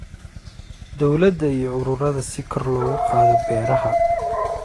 Dawladda iyo ururada si kor loogu qaado beeraha